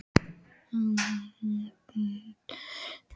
Arnrós, pantaðu tíma í klippingu á þriðjudaginn.